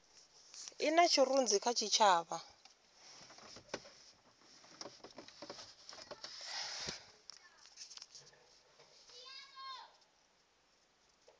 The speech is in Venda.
i na tshirunzi kha tshitshavha